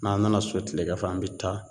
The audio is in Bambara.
N'an nana so tilegan fɛ an bɛ taa